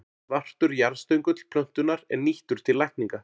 Svartur jarðstöngull plöntunnar er nýttur til lækninga.